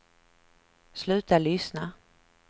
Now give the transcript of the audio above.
sluta lyssna